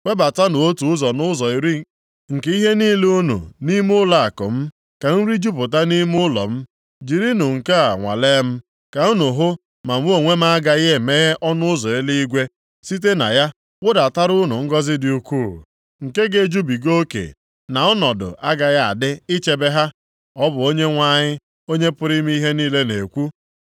Webatanụ otu ụzọ nʼụzọ iri nke ihe niile unu nʼime ụlọakụ m, ka nri jupụta nʼime ụlọ m. Jirinụ nke a nwalee m,” ka unu hụ ma mụ onwe m agaghị emeghe ọnụ ụzọ eluigwe, site na ya wụdatara unu ngọzị dị ukwuu, nke ga-ejubiga oke na ọnọdụ agaghị adị ichebe ha. Ọ bụ Onyenwe anyị, Onye pụrụ ime ihe niile na-ekwu.